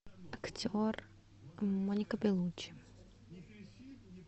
актер моника беллуччи